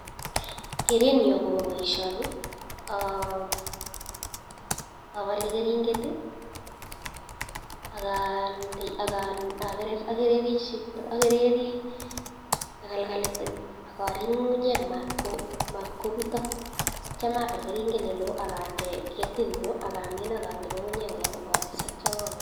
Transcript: Kerenyun akoba baishoni abale karinget Akande akakerer agereri kalkalit ak ngungunyek matkobutok Akiyam abal karinget nelon Akande ketit nyun Kamin Akande ngungunyek koya